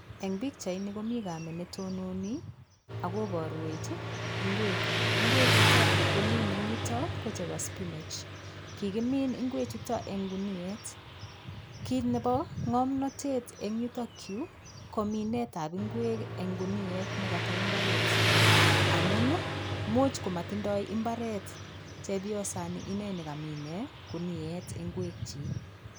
Eng' pikchaini komi kamet netononi akoborwech ng'wek ng'wechuto kikimin eng' yuto ko chebo spinach kikimin ng'wechuto eng' guniet kiit nebo ng'omnotet eng' yutokyu ko minetab ng'wek eng' guniet nekata mbaret amu muuch komatindoi imbaret chepyosani ineni kamine guniet ng'wek chi